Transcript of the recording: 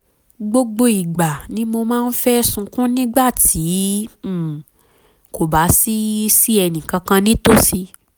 gbogbo ìgbà ni mo máa ń fẹ́ sunkún nígbà tí um kò bá sí sí ẹnì kankan nítòsí